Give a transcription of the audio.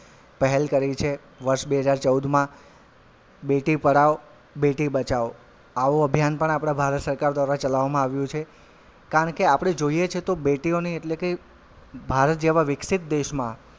પહેલ કરી છે વર્ષ બે હજાર ચૌદમાં બેટી પઢાઓ બેટી બચાઓ આવો અભ્યાન પણ આપડા ભારત સરકાર દ્વારા ચલાવવામાં આવ્યું છે કારણ કે આપડે જોઈએ છે તો બેટીઓને એટલે કે ભારત જેવા વિકસિત દેશમાં,